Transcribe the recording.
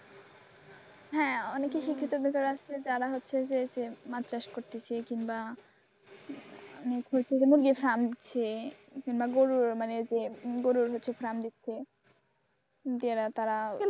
হ্যাঁ অনেকে শিক্ষিত বেকার আছে যারা হচ্ছে যে মাদ্রাজ করতেছে কিংবা গরুর হচ্ছে শান দিচ্ছে গেরা তারা,